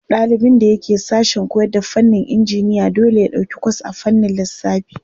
Ɗalibin da yake sashen koyarda fannin injiniya dole ya ɗauki kwas a fannin lissafi.